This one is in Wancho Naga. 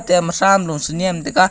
tam sam lu tenem taiga.